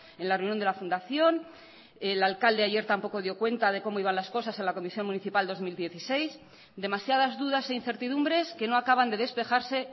en la reunión de la fundación el alcalde ayer tampoco dio cuenta de cómo iban las cosas en la comisión municipal dos mil dieciséis demasiadas dudas e incertidumbres que no acaban de despejarse